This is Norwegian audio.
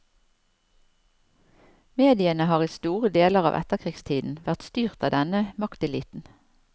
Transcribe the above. Mediene har i store deler av etterkrigstiden vært styrt av denne makteliten.